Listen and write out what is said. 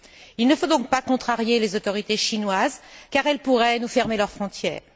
Il ne faut donc pas contrarier les autorités chinoises car elles pourraient nous fermer leurs frontières.